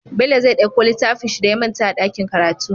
Bello zai ɗauko littafinshi da ya manta a dakin karatu